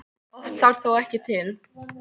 Oft þarf það þó ekki til.